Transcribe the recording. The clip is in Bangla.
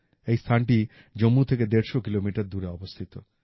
এই স্থানটি জম্মু থেকে ১৫০ কিলোমিটার দূরে অবস্থিত